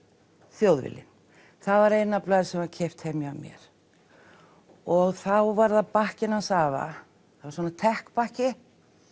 Þjóðviljinn það var eina blaðið sem var keypt heima hjá mér og þá var það bakkinn hans afa það var svona bakki